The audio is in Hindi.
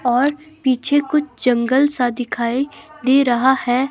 और पीछे कुछ जंगल सा दिखाई दे रहा है।